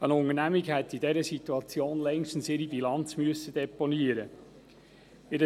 Eine Unternehmung hätte in dieser Situation längstens ihre Bilanz deponieren müssen.